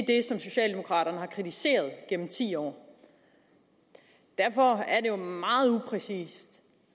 det som socialdemokraterne har kritiseret igennem ti år derfor er det jo meget upræcist